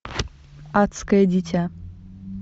адское дитя